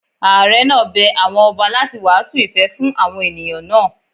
Àre náà bẹ àwọn ọba láti wàásù ìfẹ́ fún àwọn ènìyàn náà.